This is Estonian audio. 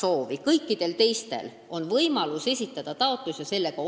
Ka kõikidel teistel on võimalik esitada taotlus ja osaleda.